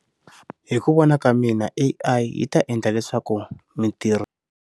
Hi ku vona ka mina A_I yi ta endla leswaku mintirho.